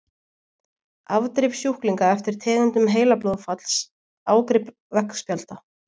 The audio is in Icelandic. Afdrif sjúklinga eftir tegundum heilablóðfalls- Ágrip veggspjalda.